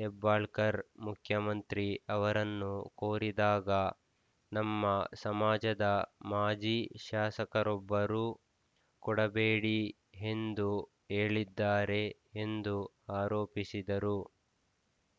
ಹೆಬ್ಬಾಳ್ಕರ್‌ ಮುಖ್ಯಮಂತ್ರಿ ಅವರನ್ನು ಕೋರಿದಾಗ ನಮ್ಮ ಸಮಾಜದ ಮಾಜಿ ಶಾಸಕರೊಬ್ಬರು ಕೊಡಬೇಡಿ ಎಂದು ಹೇಳಿದ್ದಾರೆ ಎಂದು ಆರೋಪಿಸಿದರು